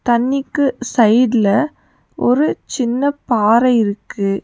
தண்ணிக்கு சைட்ல ஒரு சின்ன பாறை இருக்கு.